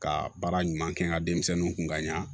Ka baara ɲuman kɛ n ka denmisɛnninw kun ka ɲa